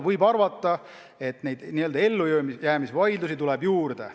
Võib arvata, et neid n-ö ellujäämisvaidlusi tuleb juurde.